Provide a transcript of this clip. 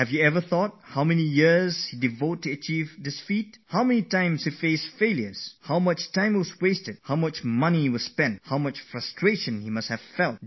But friends, have you ever thought how many years he spent on his work, how many times he met with failure, how much time had to be devoted, how much money was spent, how much disappointment he must have faced when he met with failures